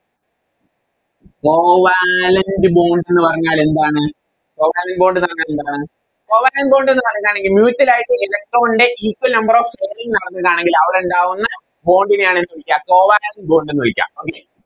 Covalent bond ന്ന് പറഞ്ഞാൽ എന്താണ് Covalent bond ന്ന് പറഞ്ഞ എന്താണ് Covalent bond എന്ന് പറയുന്നാണെങ്കിൽ Mutual ആയിട്ട് Electron നെ Equal number of sharing നടന്നതാണെങ്കിൽ അവിടെ ഉണ്ടാവുന്നെ Bond നെയാണെന്ത് വിളിക്ക Covalent bond എന്ന് വിളിക്ക Okay